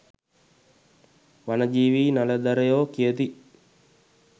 වනජීවී නලධරයෝ කියති